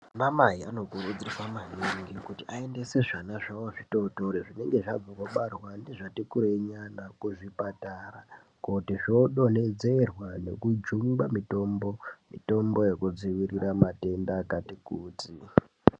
Ana mai vanokurudzirwa maningi kuti vaendese vana vanenge vachangobva kubarwa nezvati kureyi yana kuzvipatara kuti zvodonhedzerwa nekujungwa mitombo yekudzivirira matenda akati kuti.